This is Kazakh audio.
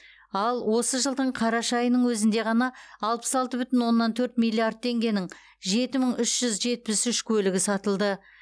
ал осы жылдың қараша айының өзінде ғана алпыс алты бүтін оннан төрт миллиард теңгенің жеті мың үш жүз жетпіс үш көлігі сатылды